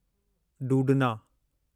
डूडना